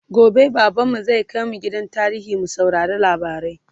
gobe baban mu zai kaimj gidan tarihi mu saurari labarai